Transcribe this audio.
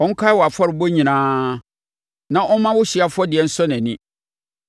Ɔnkae wʼafɔrebɔ nyinaa na ɔmma wo hyeɛ afɔdeɛ nsɔ nʼani.